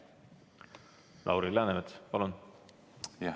Lauri Läänemets, palun!